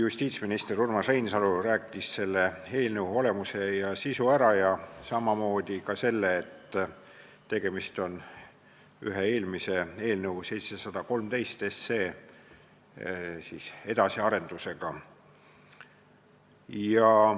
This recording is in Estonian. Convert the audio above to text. Justiitsminister Urmas Reinsalu rääkis selle eelnõu olemuse ja sisu ära ning samamoodi ka selle, et tegemist on ühe eelmise eelnõu, eelnõu 713 edasiarendusega.